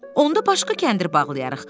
Onda başqa kəndir bağlayarıq.